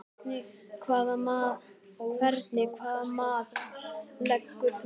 Hvernig hvaða mat leggur þú á það?